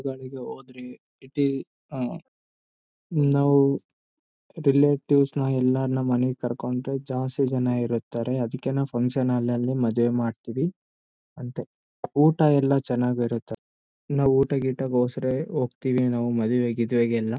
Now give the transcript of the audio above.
ಊರುಗಳಿಗೆ ಹೋದ್ರೆ ಇಟಿ ಆಹ್ಹ್ ನಾವು ರಿಲೇಟಿವ್ಸ್ ನ ಎಲ್ಲರನ್ನ ನಮ್ ಮನೆ ಕರ್ಕೊಂಡು ಜಾಸ್ತಿ ಜನ ಇರುತ್ತಾರೆ ಅದಿಕ್ಕೆ ನಾವು ಫಂಕ್ಷನ ಹಾಲ್ ನಲ್ಲಿ ಮದುವೆ ಮಾಡ್ತೀವಿ ಅಂತೆ ಊಟಯಲ್ಲ ಚೆನ್ನಾಗಿ ಇರುತ್ತೆ ನಾವು ಊಟ ಗೀಟ ಹೊಸ್ರ್ ಹೋಗ್ತಿವಿ ಮದುವೆ ಗಿದವೆಗೆ ಎಲ್ಲ--